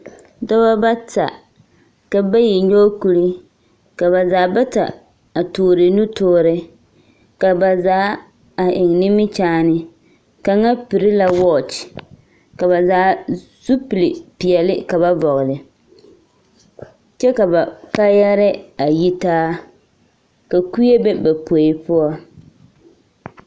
Dɔbɔ bata, ka bayi nyɔge kuri, ka ba zaa bata a toore nutoore. Ka ba zaa a eŋ nimikyaane. Kaŋa piri la wɔɔkye. Ka ba zaa, zupili peɛle ka ba vɔgele. kyɛ ka ba kaayɛrɛɛ a yi taa. Ka kue be ba poe poɔ.